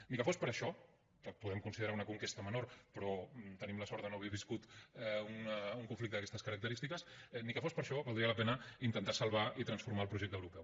ni que fos per això que ho podem considerar una conquesta menor però tenim la sort de no haver viscut un conflicte d’aquestes característiques ni que fos per això valdria la pena intentar salvar i transformar el projecte europeu